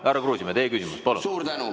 Härra Kruusimäe, teie küsimus, palun!